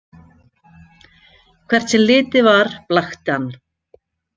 Hvert sem litið var blakti hann.